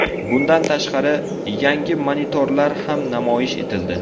Bundan tashqari, yangi monitorlar ham namoyish etildi.